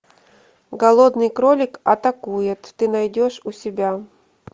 голодный кролик атакует ты найдешь у себя